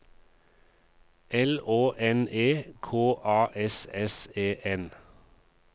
L Å N E K A S S E N